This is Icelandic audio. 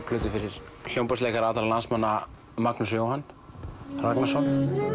plötu fyrir hljómborðsleikara allra landsmanna Magnús Jóhann Ragnarsson